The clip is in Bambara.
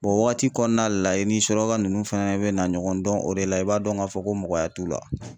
O wagati kɔnɔna la i ni suraka nunnu fɛnɛ bɛna ɲɔgɔn dɔn o de la i b'a dɔn ka fɔ ko mɔgɔya t'u la.